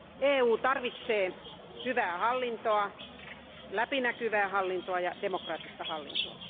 EU tarvitsee hyvää hallintoa, läpinäkyvää hallintoa ja demokraattista hallintoa.